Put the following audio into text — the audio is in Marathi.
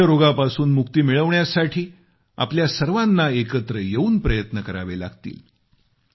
क्षयरोगापासून मुक्ती मिळवण्यासाठी आपल्या सर्वाना एकत्र येऊन प्रयत्न करावे लागतील